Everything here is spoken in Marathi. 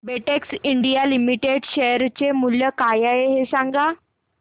बेटेक्स इंडिया लिमिटेड शेअर चे मूल्य काय आहे हे सांगा